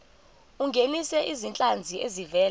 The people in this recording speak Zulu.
ungenise izinhlanzi ezivela